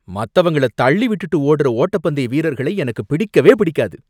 மத்தவங்கள தள்ளி விட்டுட்டு ஓடுற ஓட்டப்பந்தய வீரர்களை எனக்குப் பிடிக்கவே பிடிக்காது